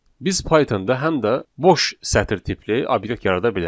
Biz Pythonda həm də boş sətr tipli obyekt yarada bilərik.